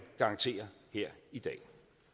garantere her i dag